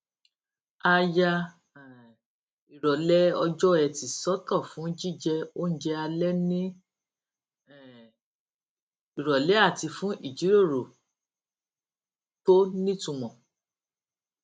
a ya um ìròlé ọjọ ẹti sótò fún jíjẹ oúnjẹ alé ní um ìròlé àti fún ìjíròrò tó nítumò